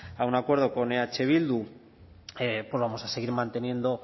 a un acuerdo con eh bildu pues vamos a seguir manteniendo